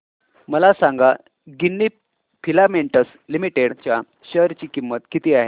मला सांगा Ginni filaments limited च्या शेअर ची किंमत किती आहे